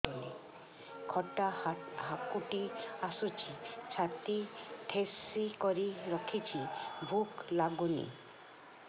ଖଟା ହାକୁଟି ଆସୁଛି ଛାତି ଠେସିକରି ରଖୁଛି ଭୁକ ଲାଗୁନି